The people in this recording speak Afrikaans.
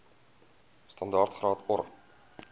standaard graad or